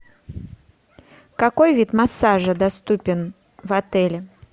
какой вид массажа доступен в отеле